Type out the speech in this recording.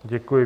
Děkuji.